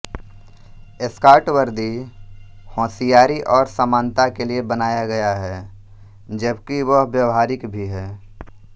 scout वर्दी होशियारी और समानता के लिए बनाया गया है जबकि वह व्यावहारिक भी है